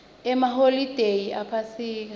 emaholide ephasika